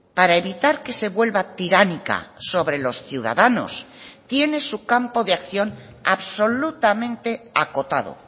para evitar que se vuelva tiránica sobre los ciudadanos tiene su campo de acción absolutamente acotado